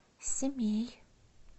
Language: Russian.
семей